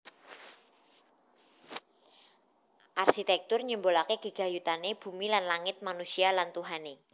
Arsitekture nyimbolake gegayutane bumi lan langit manusia lan Tuhane